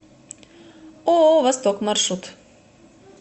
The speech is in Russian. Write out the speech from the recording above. ооо восток маршрут